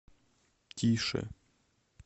тише